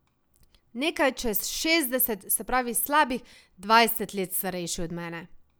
Nekaj čez šestdeset, se pravi slabih dvajset let starejši od mene.